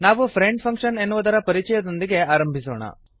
ನಾವು friend function ಎನ್ನುವುದರ ಪರಿಚಯದೊಂದಿಗೆ ಆರಂಭಿಸೋಣ